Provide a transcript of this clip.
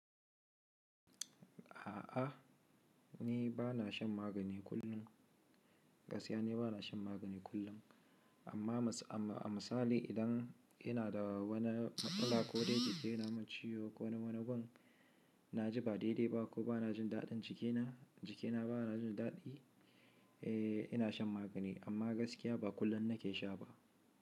A'a, ni ba na shan magani kullum. Gaskiya ni ba na shan magani kullum. Amma, amma a misali idan inada wani matsala kodai jiki yanamin ciyo ko na wani gun naji ba dai dai ba ko banajin daɗin jikina, jikina banajin daɗi, eh ina shan magani. Amma gaskiya ba kullum nake sha ba.